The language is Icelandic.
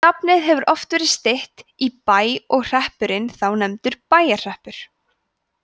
nafnið hefur oft verið stytt í bæ og hreppurinn þá nefndur bæjarhreppur